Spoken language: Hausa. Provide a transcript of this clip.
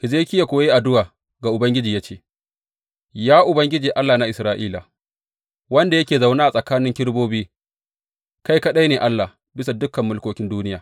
Hezekiya kuwa ya yi addu’a ga Ubangiji ya ce, Ya Ubangiji, Allah na Isra’ila, wanda yake zaune tsakanin kerubobi, kai kaɗai ne Allah bisa dukan mulkokin duniya.